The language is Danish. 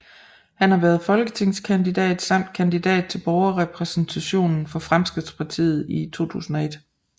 Han har været folketingskandidat samt kandidat til Borgerrepræsentationen for Fremskridtspartiet i 2001